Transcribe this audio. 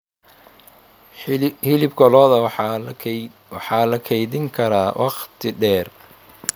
Hilibka lo'da waxa la kaydin karaa wakhti dheer.